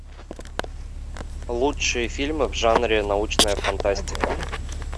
лучшие фильмы в жанре научная фантастика